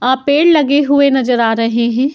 आ पेड़ लगे हुए नजर आ रहें हैं।